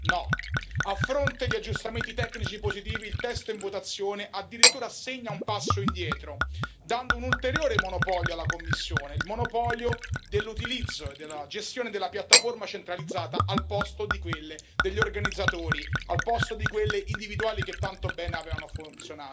No, a fronte di aggiustamenti tecnici positivi il testo in votazione addirittura segna un passo indietro, dando un ulteriore monopolio alla Commissione, il monopolio dell'utilizzo e della gestione della piattaforma centralizzata al posto di quelle degli organizzatori, al posto di quelle individuali, che tanto bene avevano funzionato.